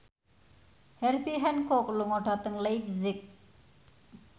Herbie Hancock lunga dhateng leipzig